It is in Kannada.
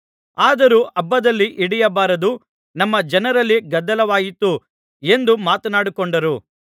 ಆದರೂ ಹಬ್ಬದಲ್ಲಿ ಹಿಡಿಯಬಾರದು ನಮ್ಮ ಜನರಲ್ಲಿ ಗದ್ದಲವಾದೀತು ಎಂದು ಮಾತನಾಡಿಕೊಂಡರು